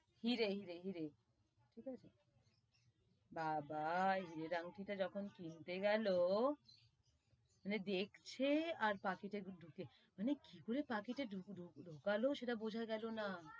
হিরে, হিরে, হিরে বুঝতে পেরেছো বাবা হীরের আংঠি টা যখন কিনতে গেলো, মানে দেখছে আর পাকিট তা ডুক~ মানে কি করে পাকিটে ডুক~ডু~ ডুকালো সেটা বোঝা গেলো না,